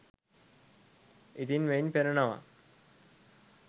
ඉතින් මෙයින් පෙනෙනවා